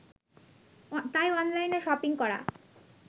তাই অনলাইনে শপিং করা